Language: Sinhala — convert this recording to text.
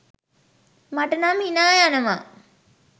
මට නම් හිනා යනවා.